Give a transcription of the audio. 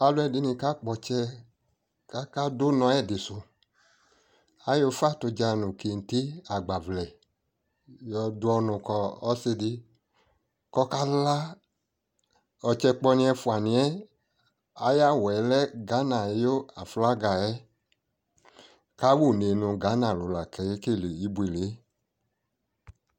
Alɔdini ka kpɔ tsɛ kaka du nɔ ɛdi suAyɔ ufa tu dza, kente nu agbavlɛ yɔ du ɔnu kɔ si di kɔ ka laƆtsɛ kpɔ niyɛ ɛfua niyɛ aya wuɛ lɛ Gana yʋ aflaga yɛ Kawu nu Gana lu la akɛkele ibuele